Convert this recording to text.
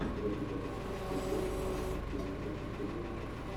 стражи галактики часть два с актрисой кирой найтли ты можешь включить